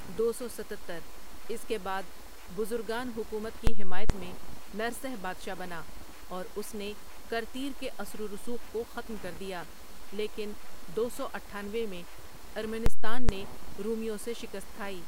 دو سو ستتر اس کے بعد بزرگان حکومت کی حمایت میں نرسہ بادشاہ بنا، اوراس نے کرتیر کے اثر ورسوخ کوختم کردیا لیکن دو سو اٹھآنوے میں ارمنستان نے رومیوں سے شکست کھائی۔